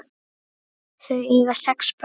Þau eiga sex börn.